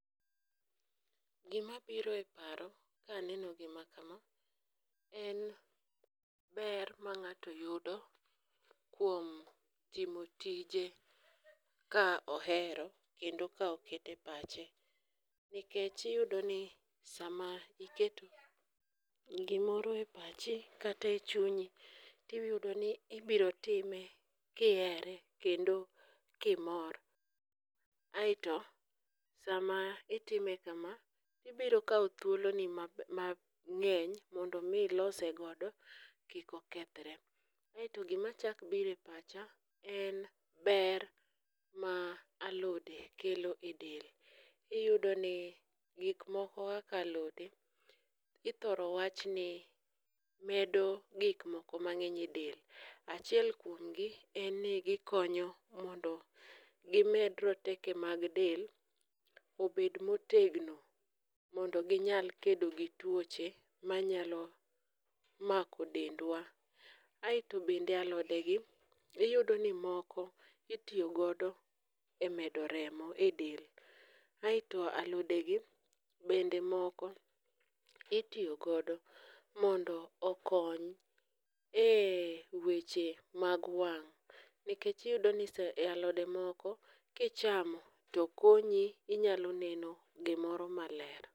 Gimabiro e paro kaneno gima kama en ber ma ng'ato yudo kuom timo tije ka ohero kendo ka okete pache, nikech iyudo ni sama iketo gimoro e pachi kata e chunyi tiyudo ni ibiro time kihere kendo kimor, aeto sama itime kama, ibiro kawo thuoloni mang'eny mondo omi ilose godo kik okethre, aeto gimachako biro e pacha en ber ma alode kelo e del, iyudoni gikmoko kaka alode ithoro wachni medo gikmoko mang'eny e del, achiel kuomgi en ni gikonyo mondo gimed roteke mag del obed motegno mondo ginyal kedo gi tuoche manyalo mako dendwa, aeto bende alodegi iyudo ni moko itiyo godo e medo remo e del aeto alodegi bende moko itiyo godo mondo okony e weche mag wang' nikech iyudo ni alode moko kichamo to konyi inyalo neno gimoro maler.